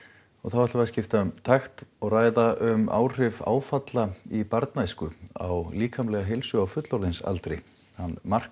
nú skiptum við takt og ræðum um áhrif áfalla í barnæsku á líkamlega heilsu á fullorðinsaldri mark